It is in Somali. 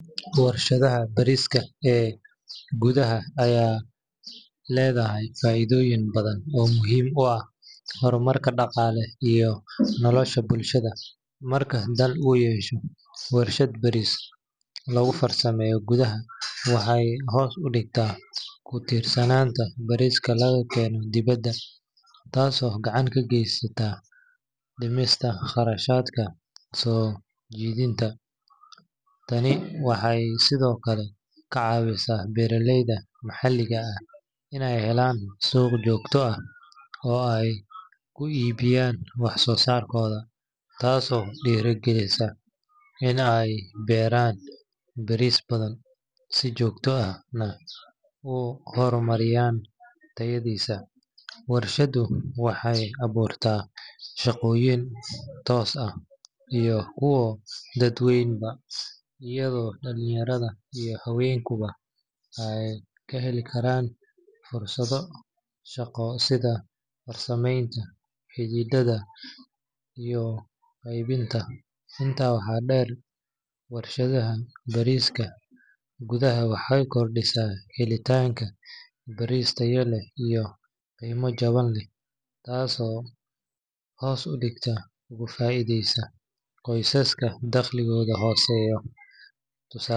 Warshadda bariiska ee gudaha ayaa leedahay faa’iidooyin badan oo muhiim u ah horumarka dhaqaalaha iyo nolosha bulshada. Marka dal uu yeesho warshad bariis lagu farsameeyo gudaha, waxay hoos u dhigtaa ku tiirsanaanta bariiska laga keeno dibadda, taasoo gacan ka geysaneysa dhimista qarashaadka soo dejinta. Tani waxay sidoo kale ka caawisaa beeraleyda maxalliga ah inay helaan suuq joogto ah oo ay ku iibiyaan waxsoosaarkooda, taasoo dhiirrigelisa in ay beeraan bariis badan, si joogto ahna u horumariyaan tayadiisa. Warshaddu waxay abuurtaa shaqooyin toos ah iyo kuwa dadban, iyadoo dhalinyarada iyo haweenkuba ay ka heli karaan fursado shaqo sida farsamaynta, xirxiridda, iyo qaybinta. Intaa waxaa dheer, warshadda bariiska gudaha waxay kordhisaa helitaanka bariis tayo leh oo qiimo jaban leh, taasoo si toos ah uga faa’iideysa qoysaska dakhligoodu hooseeyo.